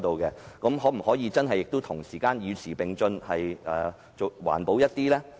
政府可否真的與時並進，環保一點？